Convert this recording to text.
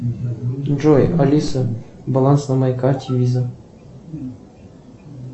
джой алиса баланс на моей карте виза